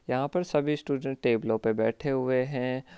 यहाँ पर सभी स्टूडेंट टेबलो पर बैठे हुए है।